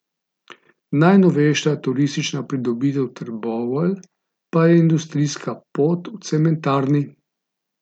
Najnovejša turistična pridobitev Trbovelj pa je industrijska pot v cementarni.